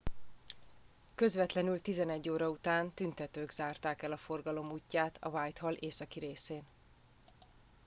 közvetlenül 11:00 óra után tüntetők zárták el a forgalom útját a whitehall északi részén